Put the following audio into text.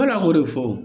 an b'o de fɔ